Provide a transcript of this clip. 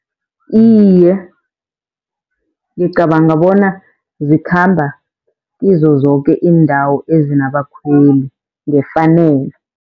Iye, ngicabanga bona zikhamba kizo zoke iindawo ezinabakhweli ngefanelo.